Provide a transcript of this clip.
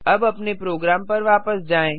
अब अपने प्रोग्राम पर वापस जाएँ